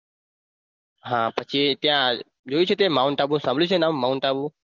હા પછી ત્યાં જોયું છે તે mount આબુ સાંભળ્યું છે નામ mount આબુ